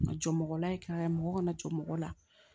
Ka jɔ mɔgɔla yen ka mɔgɔ kana jɔ mɔgɔ la